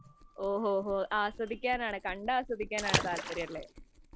ഓഹോഹോ, ആസ്വദിക്കാനാണ് താല്പര്യം. കണ്ടാസ്വാദിക്കാനാണ് താല്പര്യം.